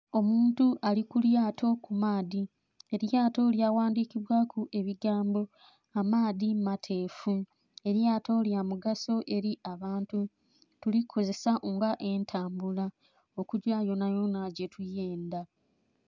Omuntu ali ku lyato ku maadhi, elyato lya ghandhikibwaku ebigambo amaadhi mateefu elyato lya mugaso eri abantu tulikozesa nga entambula okugya yonayona gye tuyendha.